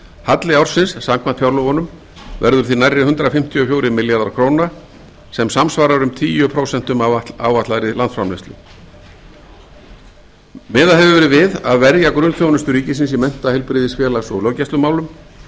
halli ársins samkvæmt fjárlögunum verður því nærri hundrað fimmtíu og fjórir milljarðar króna sem samsvarar um tíu prósent af áætlaðri landsframleiðslu miðað hefur verið við að verja grunnþjónustu ríkisins í mennta heilbrigðis félags og löggæslumálum í